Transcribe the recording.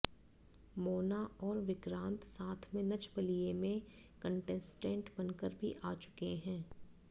मोना और विक्रांत साथ में नच बलिए में कंटेस्टेंट बनकर भी आ चुके हैं